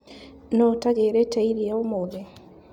Nũu ũtagĩrĩte iria ũmũthĩ.